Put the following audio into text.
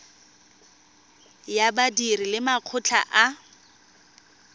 ya badiri le makgotla a